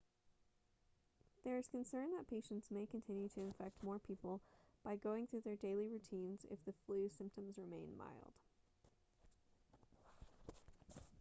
there is concern that patients may continue to infect more people by going through their daily routines if the flu symptoms remain mild